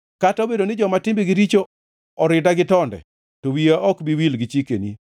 Kata obedo ni joma timbegi richo orida gi tonde, to wiya ok bi wil gi chikeni.